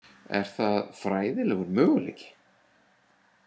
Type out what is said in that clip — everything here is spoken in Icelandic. Er það fræðilegur möguleiki?